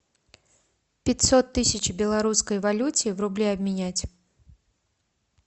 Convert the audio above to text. пятьсот тысяч в белорусской валюте в рубли обменять